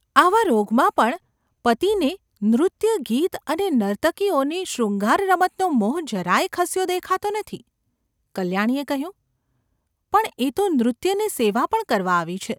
આવા રોગમાં પણ પતિને નૃત્ય-ગીત અને નર્તકીઓની શૃંગારરમતનો મોહ જરા યે ખસ્યો દેખાતો નથી ! કલ્યાણીએ કહ્યું : ‘પણ એ તો નૃત્ય ને સેવા પણ કરવા આવી છે.